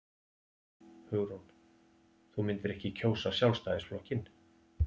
Hugrún: Þú myndir ekki kjósa Sjálfstæðisflokkinn?